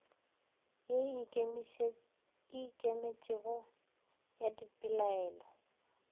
ye e ikemetšego ya dipelaelo